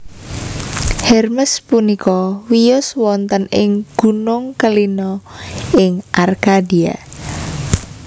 Hermes punika wiyos wonten ing Gunung Kellina ing Arkadia